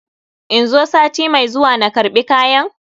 In zo sati mai zuwa na karɓi kayan?